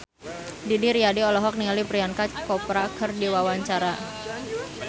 Didi Riyadi olohok ningali Priyanka Chopra keur diwawancara